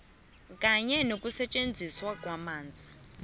kanye nokusetjenziswa kwamanzi